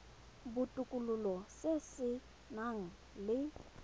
botokololo se se nang le